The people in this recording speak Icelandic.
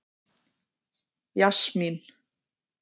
Jasmín